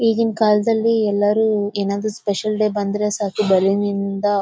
ಈಗಿನ ಕಾಲದಲ್ಲಿ ಎಲ್ಲರು ಏನಾದರು ಸ್ಪೆಷಲ್ ಡೇಸ್ ಬಂದ್ರೆ ಸಾಕು ಬಲೂನ್ ನಿಂದ--